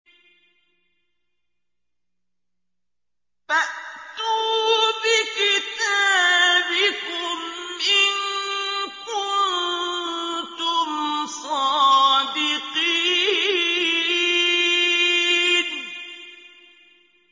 فَأْتُوا بِكِتَابِكُمْ إِن كُنتُمْ صَادِقِينَ